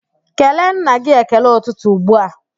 Kelee nna gị ekele ụtụtụ ugbua!